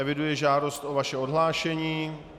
Eviduji žádost o vaše odhlášení.